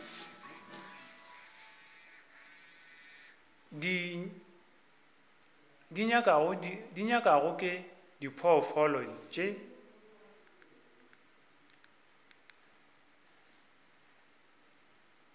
di nyakwago ke diphoofolo tše